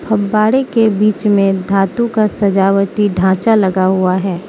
फब्बारे के बीच में धातु का सजावटी ढांचा लगा हुआ है।